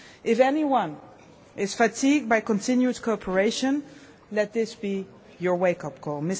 If anyone is fatigued by continued cooperation, let this be your wake-up call.